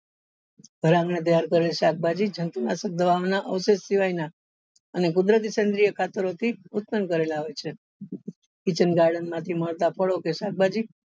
ઘર આંગણે તૈયાર કરેલ શાકભાજી જંતુ નાશક દવા ઓ ના સિવાય ના અને કુદરતી થી ઉત્પન્ન કરેલા હોય છે kitchen garden મળતા ફળો કે શાકભાજી